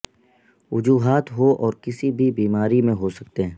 وجوہات ہو اور کسی بھی بیماری میں ہو سکتے ہیں